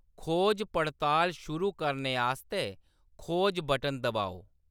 खोज-पड़ताल शुरू करने आस्तै खोज बटन दबाओ।